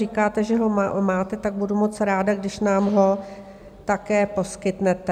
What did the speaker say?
Říkáte, že ho máte, tak budu moc ráda, když nám ho také poskytnete.